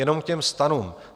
Jenom k těm stanům.